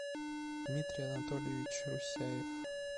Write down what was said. дмитрий анатольевич русяев